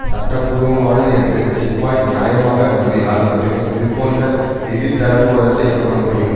சட்டபூர்வமானது என்று சிப்பாய் நியாயமாக நம்பினால் மட்டுமே இதுபோன்ற எதிர்தரப்புவாதத்தை கூறமுடியும்